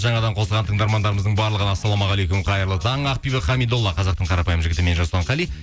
жаңадан қосылған тыңдармандарымыздың барлығына ассалаумағалейкум қайырлы таң ақбибі хамидола қазақтың қарапайым жігіті мен жасұлан қали